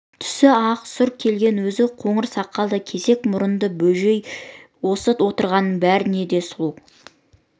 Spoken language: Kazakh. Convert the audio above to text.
түсі ақ сұр келген өзі қоңыр сақалды кесек мұрынды бөжей осы отырғанның бәрінен де сұлу